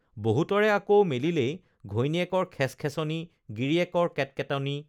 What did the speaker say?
বহুতৰে আকৌ মেলিলেই ঘৈণীয়েকৰ খেচখেচনি গিৰিয়েকৰ কেটকেটনি